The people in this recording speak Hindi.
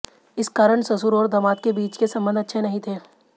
इस कारण ससुर और दामाद के बीच के संबंध अच्छे नहीं थे